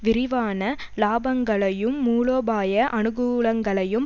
விரிவான இலாபங்களையும் மூலோபாய அணுகூலங்களையும்